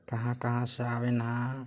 कहा-कहा से आवेन ह--